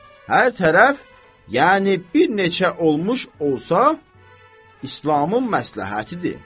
hər tərəf, yəni bir neçə olmuş olsa İslamın məsləhətidir.